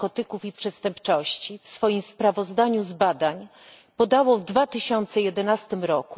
Narkotyków i Przestępczości w swoim sprawozdaniu z badań podało w 2011 r.,